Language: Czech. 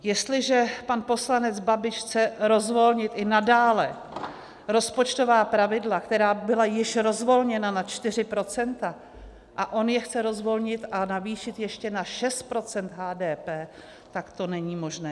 Jestliže pan poslanec Babiš chce rozvolnit i nadále rozpočtová pravidla, která byla již rozvolněna na 4 %, a on je chce rozvolnit a navýšit ještě na 6 % HDP, tak to není možné.